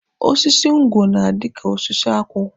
Osisi ngwọ na-adị ka osisi akwụ.